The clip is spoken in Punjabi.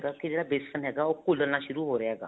ਕੀ ਜਿਹੜਾ ਵੇਸਣ ਹੈਗਾ ਉਹ ਘੁਲਣਾ ਸ਼ੁਰੂ ਹੋ ਰਿਹਾ ਹੈਗਾ